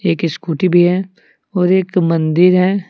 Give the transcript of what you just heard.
एक स्कूटी भी है और एक मंदिर है।